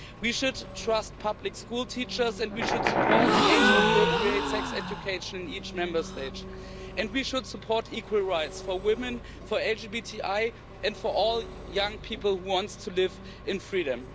We should trust public school teachers and we should support age appropriate sex education in each Member State. We should support equal rights for women, for LGBTI and for all young people who want to live in freedom.